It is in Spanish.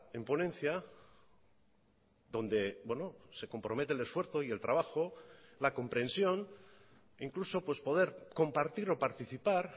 en ponencia donde se compromete el esfuerzo y el trabajo la comprensión incluso poder compartir o participar